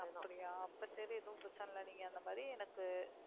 அப்படியா அப்ப சரி எதுவும் பிரச்சனை இல்லை நீங்க அந்த மாதிரி எனக்கு